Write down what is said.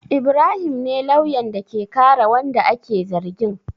Ibrahim ne lauyan da ke kare wanda ake zargin.